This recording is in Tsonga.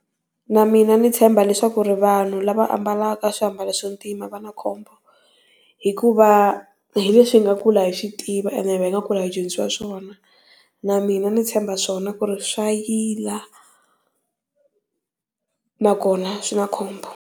Na mina ndzi tshemba swa ku ri vanhu lava ambalaka swiambalo swo ntima va na khombo, hikuva hi leswi hi nga kula hi tiva and hi nga kul hi dyondzisiwa swona na mina ndzi tshemba swona ku ri swayila na kona swi na khombo.